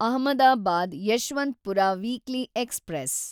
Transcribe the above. Ahmedabad Yeshwantpur weekly express